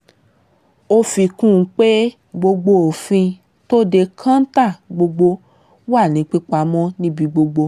ó fi kún un pé gbogbo òfin tó de kọ́ńtà gbọ́dọ̀ wà ní pípamọ́ níbi gbogbo